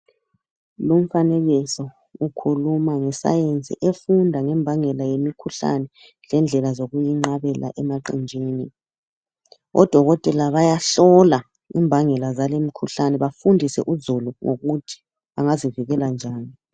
Lumfanekiso ukhuluma ngescience efunda ngembangela yemikhuhlane lendlela zokuyinqabela emaqenjini. Odokotela bayahlola imbangela zali mikhuhlane bafundise uzulu ukuthi angazivikela njani.